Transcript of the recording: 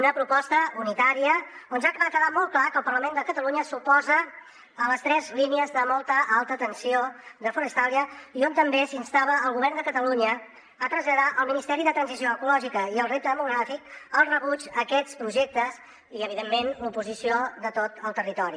una proposta unitària on ja va quedar molt clar que el parlament de catalunya s’oposa a les tres línies de molt alta tensió de forestalia i on també s’instava el govern de catalunya a traslladar al ministeri de transició ecològica i el repte demogràfic el rebuig a aquests projectes i evidentment l’oposició de tot el territori